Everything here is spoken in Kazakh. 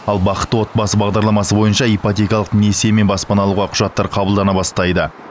ал бақытты отбасы бағдарламасы бойынша ипотекалық несиемен баспана алуға құжаттар қабылдана бастайды